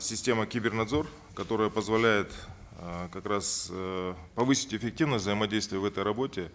система кибернадзор которая позволяет э как раз э повысить эффективность взаимодействия в этой работе